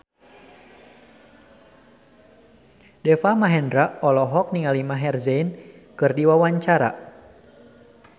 Deva Mahendra olohok ningali Maher Zein keur diwawancara